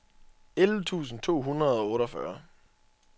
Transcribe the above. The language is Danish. elleve tusind to hundrede og otteogfyrre